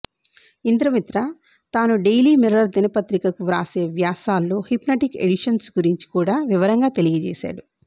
ఇంద్రమిత్ర తాను Daily Mirror దినపత్రికకు వ్రాసే వ్యాసాల్లో హిప్నటిక్ షిడిషన్స్ గురించి కూడా వివరంగా తెలియచేశాడు